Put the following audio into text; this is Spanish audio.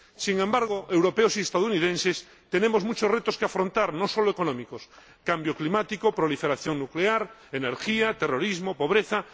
Sin embargo, europeos y estadounidenses tenemos muchos retos que afrontar, no sólo económicos cambio climático, proliferación nuclear, energía, terrorismo, pobreza